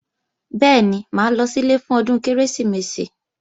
Bẹ́ẹ̀ni, mà á lọ sílé fún ọdún Kérésìmesì